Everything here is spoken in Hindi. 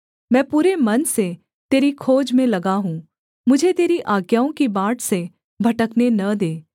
मैं पूरे मन से तेरी खोज में लगा हूँ मुझे तेरी आज्ञाओं की बाट से भटकने न दे